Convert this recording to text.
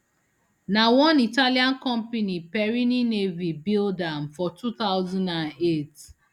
na one italian company perini navi build am for two thousand and eight